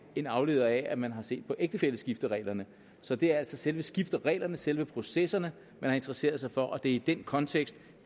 igen afledt af at man har set på ægtefælleskiftereglerne så det er altså selve skiftereglerne selve processerne man har interesseret sig for og det er i den kontekst